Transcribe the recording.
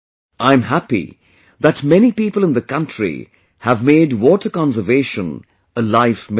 I am happy that many people in the country have made water conservation a life mission